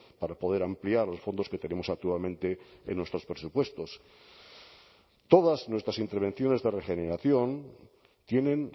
para poder ampliar los fondos que tenemos actualmente en nuestros presupuestos todas nuestras intervenciones de regeneración tienen